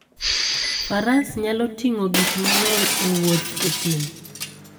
Faras nyalo ting'o gik mang'eny e wuoth e thim.